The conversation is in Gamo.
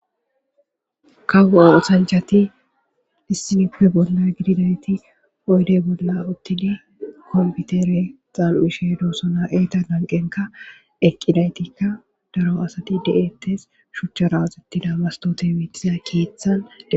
Kawo'o osanchati dissinippe bolla gididayti oydey bolla uttini komputere xaan'ishe doosona eeta ganqenka eqqidaytikka daro asati de'ettes shuchcha raazettida bastote mitiza keeththan e.